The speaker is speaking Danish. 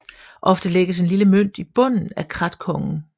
Ofte lægges en lille mønt i bunden af krathongen